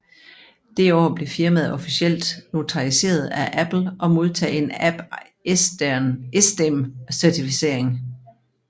Det år blev firmaet officielt notariseret af Apple og modtog en AppEsteem Certificering